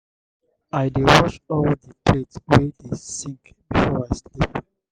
make you dey try arrange your room small before you sleep.